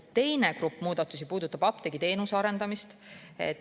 Teine muudatuste grupp puudutab apteegiteenuse arendamist.